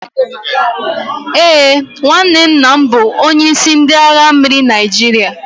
Ee, nwanne nna m bụ onyeisi ndị agha mmiri Naijiria